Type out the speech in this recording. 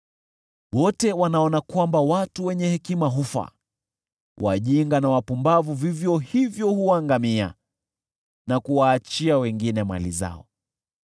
Wote wanaona kwamba watu wenye hekima hufa; wajinga na wapumbavu vivyo hivyo huangamia na kuwaachia wengine mali zao.